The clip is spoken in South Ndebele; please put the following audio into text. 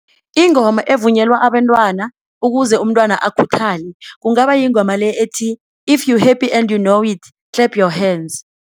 Ingoma evunyelwa abentwana ukuze umntwana akhuthale kungaba yingoma le ethi-if you happy and you know it, clap your hands.